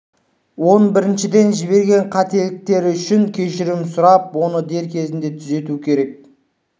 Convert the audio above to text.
он біріншіден жіберген қателіктері үшін кешірім сұрап оны дер кезінде түзетуі керек